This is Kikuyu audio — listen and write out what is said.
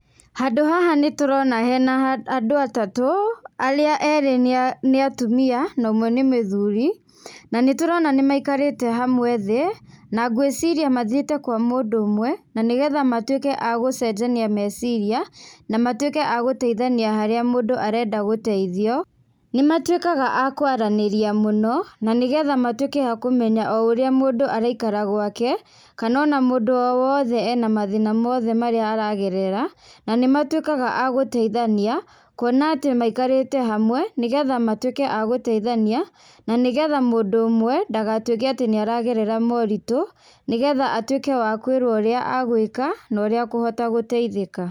Handũ haha nĩ tũrona harĩ na andũ atatũ arĩ erĩ nĩ atumia na ũmwe nĩ mũthuri, na nĩ tũrona maikarĩte hamwe thĩ, na ngũiciria mathiĩte kwa mũndũ ũmwe na nĩgetha matũike a gũcenjania meciria na matuĩke a gũteithania haria mũndũ arenda gũteithio, nĩ matuĩkaga a kwaranĩrĩa mũno, na nĩgetha matuĩke a kumenya ũrĩa mũndũ araikara gwake, kana o na mũndũ o wothe ena mathĩna mothe aragerera, na nĩ matuĩkaga a gũteithania kũona atĩ maikarĩte hamwe nĩgetha matuĩke a gũteithania, na nĩgetha mũndũ ũmwe ndagatuĩke nĩ aragerera moritũ nĩgetha atuĩke wa kũĩrwo ũrĩa agwĩka, kana ũrĩa akũhota gũteithĩka